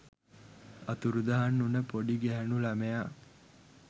අතුරුදහන් වුන පොඩි ගැහැණු ලමයා